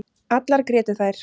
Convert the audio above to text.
Allar grétu þær.